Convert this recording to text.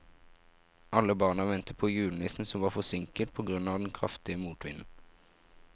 Alle barna ventet på julenissen, som var forsinket på grunn av den kraftige motvinden.